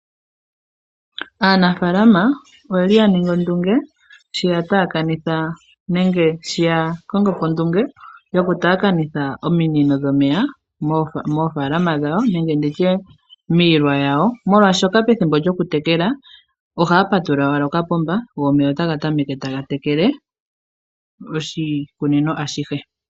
Aanafaalama oyeoi yaningi ondunge sho yakongo po ondunge yokutaakanitha ominino dhomeya moofaalama dhawo nenge miilwa yawo molwashoka pethimbo lyokutekela ohaya patulula owala okapomba go omeya omeya otaga tameke taga tekele oshikunino ashihe.